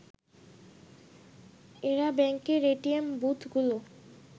এরা ব্যাংকের এটিএম বুথগুলো